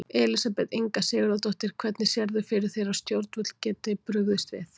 Elísabet Inga Sigurðardóttir: Hvernig sérðu fyrir þér að stjórnvöld geti brugðist við?